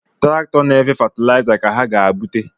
Traktọ na-efe fatịlaịza ka ha ga-ebute